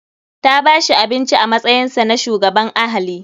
Ta bashi abinci a matsayinsa na shugaban ahali.